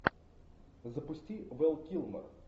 запусти вэл килмер